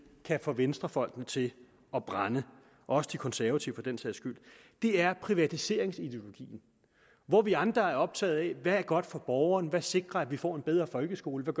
kan få venstrefolkene til at brænde også de konservative for den sags skyld er privatiseringsideologien hvor vi andre er optaget af hvad der er godt for borgeren hvad sikrer at vi får en bedre folkeskole hvad